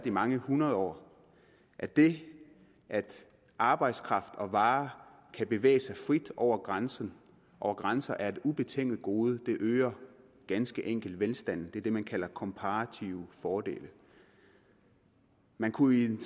i mange hundrede år at det at arbejdskraft og varer kan bevæge sig frit over grænser over grænser er et ubetinget gode det øger ganske enkelt velstanden det er det man kalder komparative fordele man kunne i den